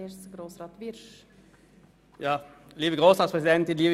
Zuerst hat Grossrat Wyrsch für die SP-JUSO-PSA-Fraktion das Wort.